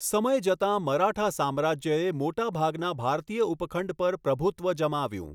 સમય જતાં, મરાઠા સામ્રાજ્યએ મોટાભાગના ભારતીય ઉપખંડ પર પ્રભુત્વ જમાવ્યું.